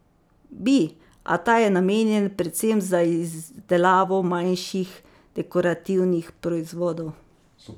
Bi, a ta je namenjen predvsem za izdelavo manjših dekorativnih proizvodov.